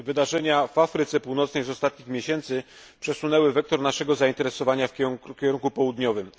Wydarzenia w Afryce Północnej z ostatnich miesięcy przesunęły wektor naszego zainteresowania w kierunku południowym.